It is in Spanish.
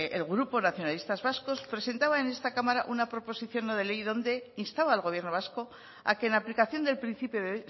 el grupo nacionalistas vascos presentaba en esta cámara una proposición no de ley donde instaba al gobierno vasco a que en aplicación del principio de